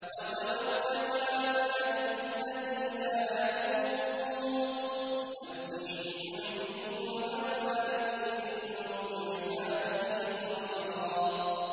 وَتَوَكَّلْ عَلَى الْحَيِّ الَّذِي لَا يَمُوتُ وَسَبِّحْ بِحَمْدِهِ ۚ وَكَفَىٰ بِهِ بِذُنُوبِ عِبَادِهِ خَبِيرًا